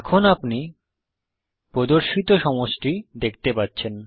এখন আপনি প্রদর্শিত সমষ্টি দেখতে পাচ্ছেন